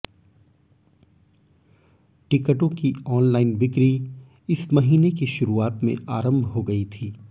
टिकटों की आनलाइन बिक्री इस महीने की शुरूआत में आरंभ हो गई थी